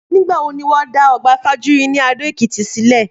Nígbà wo ni wọ́n dá ọgbà Fajuyi ní Adó-Èkìtì sílẹ̀?